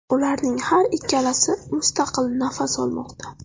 Ularning har ikkalasi mustaqil nafas olmoqda.